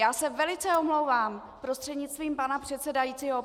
Já se velice omlouvám prostřednictvím pana předsedajícího.